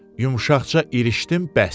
Yumşaqca irişdim bəsdir.